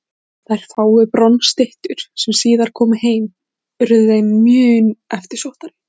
Þær fáu bronsstyttur sem síðar komu heim urðu þeim mun eftirsóttari.